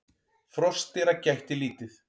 Froskdýra gætti lítið.